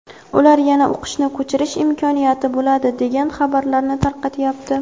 ular yana o‘qishni ko‘chirish imkoniyati bo‘ladi degan xabarlarni tarqatyapti.